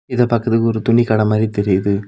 இத பாக்கர்துக்கு ஒரு துணி கட மாதிரி தெரியுது.